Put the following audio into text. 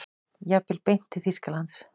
Jafnvel beint til Þýskalands.